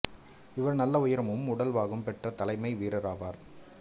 இவர் நல்ல உயரமும் உடல் வாகும் பெற்ற தலைமை வீரர் ஆவார்